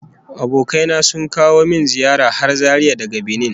Abokai na sun kawo min ziyara har Zaria daga Banin